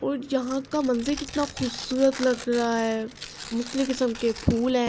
اس جہاں کا منظر کتنا سندر لگ رہا ہے۔ مختلف کسم کے پھول ہے۔